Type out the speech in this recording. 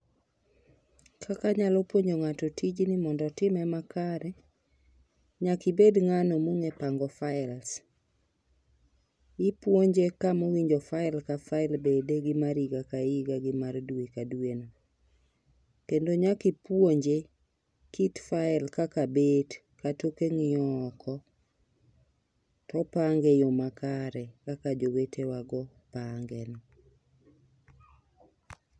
Kaka nyalo puonjo ng'ato tijni mondo otime makare. Nyaki bed ng'ano mong'e pango faels, ipuonje kamowinjo fael ka fael bede mar higa ka higa gi mar dwe ka dwe kendo nyaki puonje kit fael kaka bet toke ng'iyo oko topange e yoo makare kaka jowetewa go pange no